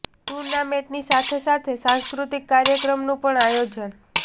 tournament ની સાથે સાથે સાંસ્કૃતિક કાર્યક્રમ નું પણ આયોજન